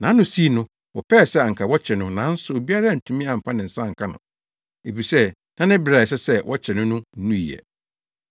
Nʼano sii no, wɔpɛe sɛ anka wɔkyere no nanso obiara antumi amfa ne nsa anka no, efisɛ na ne bere a ɛsɛ sɛ wɔkyere no no nnui ɛ.